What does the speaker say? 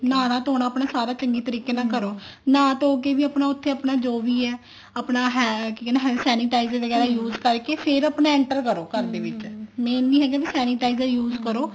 ਨਹਾਨਾ ਧੋਣਾ ਆਪਣਾ ਸਾਰਾ ਚੰਗੇ ਤਰੀਕੇ ਨਾਲ ਕਰੋ ਨਾਹ ਧੋ ਕੇ ਵੀ ਆਪਣਾ ਜੋ ਵੀ ਹੈ ਆਪਣਾ ਕੀ ਕਹਿਨੇ ਹਾਂ sanitizer ਵਗੈਰਾ use ਕਰਕੇ ਫ਼ੇਰ ਆਪਣਾ enter ਕਰੋ ਘਰਦੇ ਵਿੱਚ main ਇਹ ਨੀ ਹੈਗਾ ਵੀ sanitizer use ਕਰੋ